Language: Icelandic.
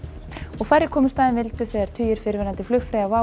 færri komust að en vildu þegar tugir fyrrverandi flugfreyja WOW